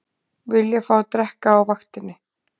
Vilja fá að drekka á vaktinni